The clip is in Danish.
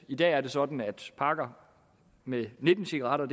i dag er sådan at pakker med nitten cigaretter